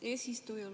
Hea eesistuja!